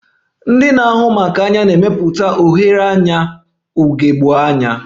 Ndị na-ahụ maka anya na-emepụta oghere anya ugegbe anya